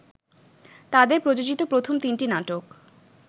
তাদের প্রযোজিত প্রথম তিনটি নাটক